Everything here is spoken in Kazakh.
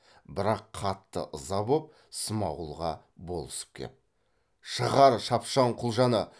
бірақ қатты ыза боп смағұлға болысып кеп шығар шапшаң құлжаны